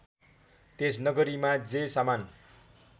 त्यस नगरीमा जे सामान